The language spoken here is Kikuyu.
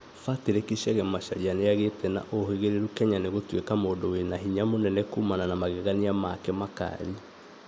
Patrick Chage Macharia nĩagĩte na ũhĩgĩrĩru Kenya nĩ gũtuĩka mũndu wĩna hinya munene kumana na magegania make makari